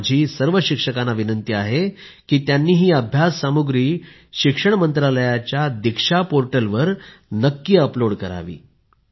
माझी सर्व शिक्षकांना विनंति आहे की त्यांनी ही अभ्यास सामुग्री शिक्षण मंत्रालयाच्या दीक्षा पोर्टलवर नक्की अपलोड करावी